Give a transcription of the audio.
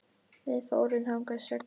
Við fórum þangað sex saman.